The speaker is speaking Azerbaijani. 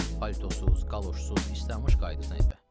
Politosuz, qaloşsuz, islanmış qayıdırsan evə.